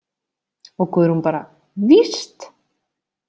Og Guðrún bara: Víst!